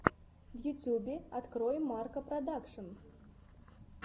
в ютюбе открой марка продакшн